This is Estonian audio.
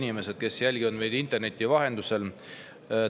Head inimesed, kes te jälgite meid interneti vahendusel!